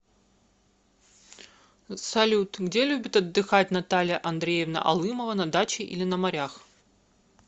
салют где любит отдыхать наталья андреевна алымова на даче или на морях